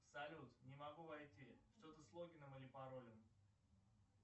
салют не могу войти что то с логином или паролем